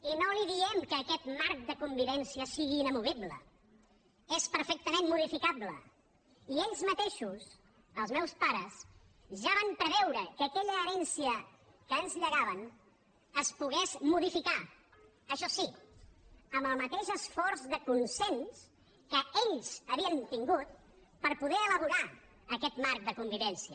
i no li diem que aquest marc de convivència sigui inamovible és perfectament modificable i ells mateixos els meus pares ja van preveure que aquella herència que ens llegaven es pogués modificar això sí amb el mateix esforç de consens que ells havien tingut per poder elaborar aquest marc de convivència